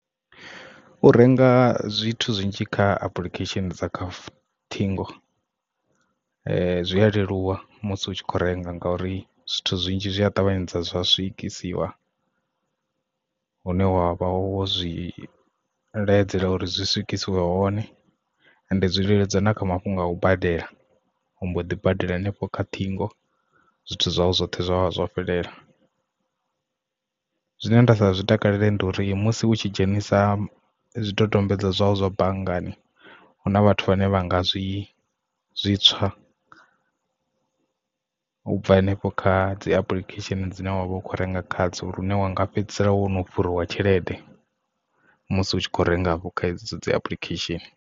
U renga zwithu zwinzhi kha application dza kha ṱhingo zwi a leluwa musi u tshi kho renga ngauri zwithu zwinzhi zwi a ṱavhanyedza zwa swikisiwa hune wavha wo zwi bveledzela uri zwi swikise hone, ende dzi leludza na kha mafhungo a u badela ombo ḓi badela hanefho kha ṱhingo zwithu zwawe zwoṱhe zwa vha zwo fhelela. Zwine nda sa zwi takalela ndi uri musi hu tshi dzhenisa zwidodombedzwa zwau zwa banngani huna vhathu vhane vha nga zwi zwi tswa ubva hanefho kha dzi application dzine wavha u kho renga kha dzo lune wanga fhedzisela wo no fhuriwa tshelede musi u tshi khou renga afho kha hedzo dzi application.